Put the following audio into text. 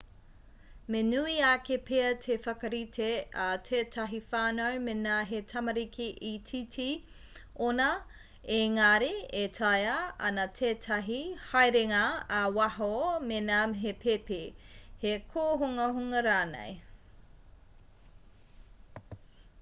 me nui ake pea te whakarite a tētahi whānau mēnā he tamariki itiiti ōnā ēngari e tāea ana tētahi haerenga ā-waho mēnā he pēpi he kōhungahunga rānei